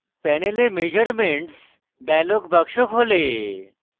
panel measurements dialog box খোলে